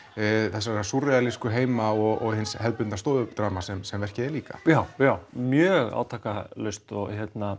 þessara heima og hins hefðbundna stofudrama sem verkið er líka já mjög átakalaust og